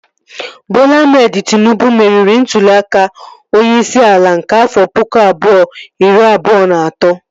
Bọla Ahmed Tịnubụ meriri ntụli aka onyeisi ala nke afọ pụkụ abụọ, iri abụọ na atọ